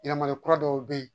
Yɛlɛmali kura dɔw bɛ yen